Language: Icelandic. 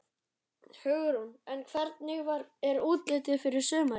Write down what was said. Hugrún: En hvernig er útlitið fyrir sumarið?